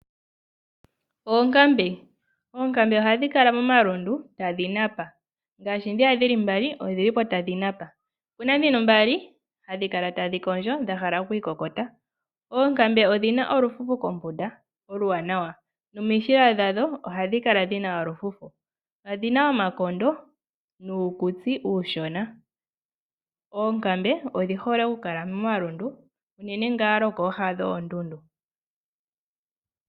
Oonkambe, oonkambe oha dhi kala momalundu tadhi napa. Ngaashi dhiya dhili mbali odhilipo ta dhi napa. Dhino mbali ota dhi kondjo dha hala okwiikokota. Oonkambe odhina olufufu kombuda, oluwanawa. nomishila dhadho oha dhi kala dhina olufufu, odhina omakondo nuukutsi uushona. Oonkambe, odhihole oku kala momalundu. Unene ngaa kooha dhoondundu.